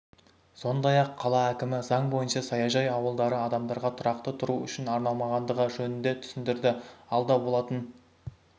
сондай-ақ қала әкімі заң бойынша саяжай ауылдары адамдарға тұрақты тұру үшін арналмағандығы жөнінде түсіндірді алда болатын